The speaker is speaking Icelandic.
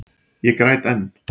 Ég græt enn.